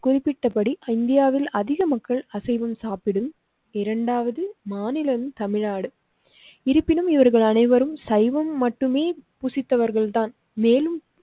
குறிப்பிட்டபடிஇந்தியாவில் அதிக மக்கள் அசைவம் சாப்பிடும் இரண்டாவது மாநிலம் தமிழ்நாடு. இருப்பினும் இவர்கள் அனைவரும் சைவம் மட்டுமே புசித்தவர்கள்தான் மேலும்.